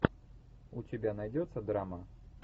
у тебя найдется драма